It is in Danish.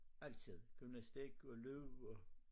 Altid gymnastik og løb og